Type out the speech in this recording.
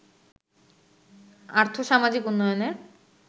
আর্থ-সামাজিক উন্নয়নের